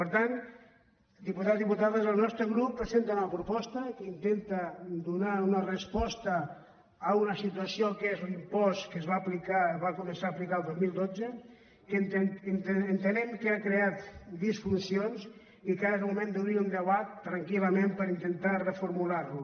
per tant diputats diputades el nostre grup presenta una proposta que intenta donar una resposta a una situació que és l’impost que es va començar a aplicar el dos mil dotze que entenem que ha creat disfuncions i que ara és el moment d’obrir un debat tranquil·lament per intentar reformular lo